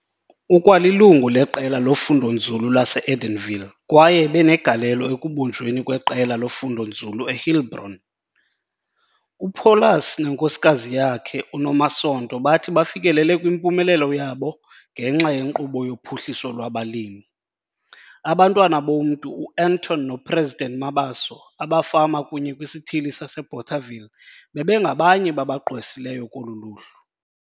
Ukwalilungu leQela loFundonzulu lase-Edenville kwaye ebenegalelo ekubunjweni kweqela lofundonzulu eHeilbron. UPaulus nenkosikazi yakhe, uNomasonto bathi bafikelele kwimpumelelo yabo ngenxa yeNkqubo yoPhuhliso lwabaLimi. Abantwana bomntu uAnton noPresident Mabaso abafama kunye kwisithili saseBothaville bebengabanye babagqwesileyo kolu luhlu.